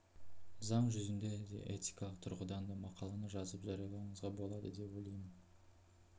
заң жүзінде де этикалық тұрғыдан да мақаланы жазып жариялауыңызға болады деп ойлаймын